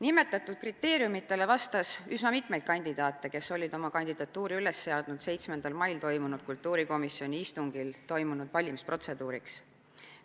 Nimetatud kriteeriumidele vastas üsna mitu kandidaati, kes olid oma kandidatuuri üles seadnud 7. mail kultuurikomisjoni istungil toimunud valimisprotseduuriks.